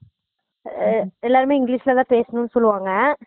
ஆஹ் எல்லாருமே english ல தான் பேசணும் சொல்லிவாங்க